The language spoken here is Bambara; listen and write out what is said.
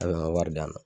A bɛ n ka wari d'a ma